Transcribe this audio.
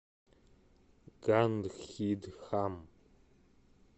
гандхидхам